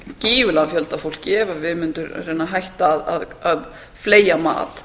gífurlegan fjölda af fólki ef við mundum reyna að hætta að fleygja mat